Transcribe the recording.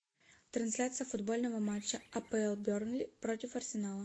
трансляция футбольного матча апл бернли против арсенала